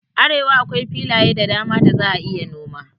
A arewa akwai filaye da dama da za a iya noma